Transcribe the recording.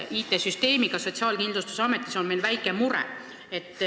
IT-süsteemiga Sotsiaalkindlustusametis on meil väike mure.